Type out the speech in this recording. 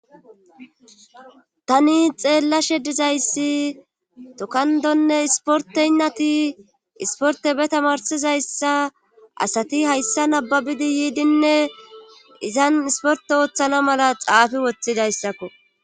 tani xeellashe dizayssi tokandonne isporteynnati isporte be tamarsizayssa asati hayssa nababidi yiidinne izan isporte ooththana mala xaafi woththidayssakko